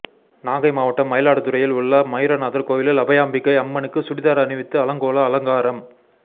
நாகை மாவட்டம் மயிலாடுதுறையில் உள்ள மயூரநாதர் கோவிலில் அபயாம்பிகை அம்மனுக்கு சுடிதார் அணிவித்து அலங்கோல அலங்காரம்